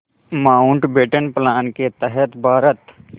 Mountbatten plan के तहत भारत